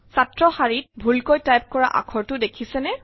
ছাত্ৰৰ শাৰীত ভুলকৈ টাইপ কৰা আখৰটো দেখিছেনে